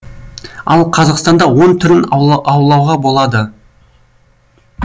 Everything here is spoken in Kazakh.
ал қазақстанда он түрін аулаға болады